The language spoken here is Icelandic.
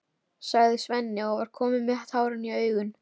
sagði Svenni og var kominn með tárin í augun.